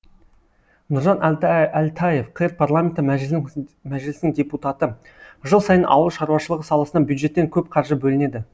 нұржан әлтаев қр парламенті мәжілісінің депутаты жыл сайын ауыл шаруашылығы саласына бюджеттен көп қаржы бөлінеді